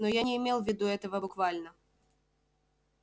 но я не имел в виду этого буквально